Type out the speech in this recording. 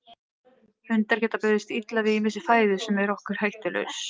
Hundar geta brugðist illa við ýmissi fæðu sem er okkur hættulaus.